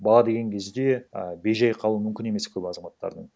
бала деген кезде а бей жай қалуы мүмкін емес көп азаматтардың